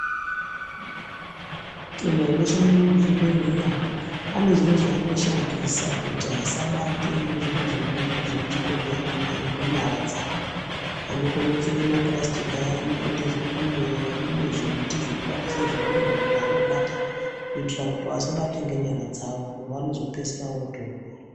Antu anoshande muzvibhedhleya ane zviro zvaanoshandisa kuti asabate zviro zvemuchibhedhleyamwo ngenyara dzavo. Vanokone kupfeke mapurasitiki aye anopinde zvikunwe. Mune zvimwe zvimuti zvavanoshandisa kubatise zviro zvimweni zvavanobata kuitire kuti vasabate ngenyara dzavo ngekuti vanozopedzisira vootorwara.